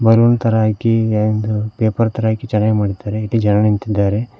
Balloon ತರ ಹಾಕಿ and paper ತರ ಹಾಕಿ ಚೆನ್ನಾಗಿ ಮಾಡಿದ್ದಾರೆ ಇಲ್ಲಿ ಜನ ನಿಂತಿದ್ದಾರೆ.